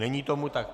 Není tomu tak.